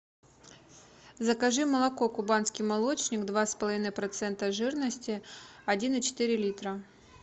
закажи молоко кубанский молочник два с половиной процента жирности один и четыре литра